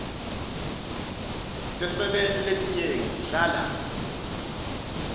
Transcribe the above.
tisebenti letinyenti tihlala